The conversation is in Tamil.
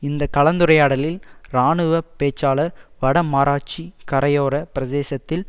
இந்த கலந்துரையாடலில் இராணுவ பேச்சாளர் வடமாராட்சி கரையோர பிரதேசத்தில்